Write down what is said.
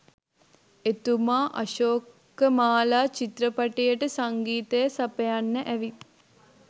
එතුමා අශෝකමාලා චිත්‍රපටියට සංගීතය සපයන්න ඇවිත්